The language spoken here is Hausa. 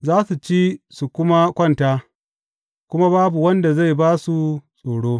Za su ci su kuma kwanta kuma babu wanda zai ba su tsoro.